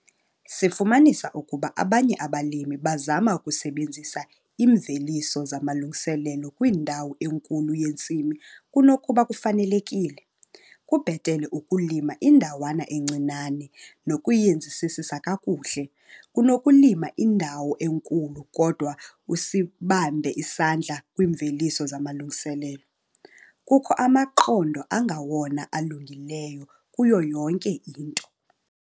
Sifumanisa ukuba abanye abalimi bazama ukusebenzisa iimveliso zamalungiselelo kwindawo enkulu yentsimi kunokuba kufanelekile - kubhetele ukulima indawana encinane nokuyenzisisisa kakuhle, kunokulima indawo enkulu kodwa usibambe isandla kwiimveliso zamalungiselelo. Kukho amaqondo angawona alungileyo kuyo yonke into.